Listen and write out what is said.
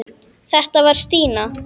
Þetta var Stína.